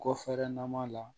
Kɔfɛɛrɛ na ma la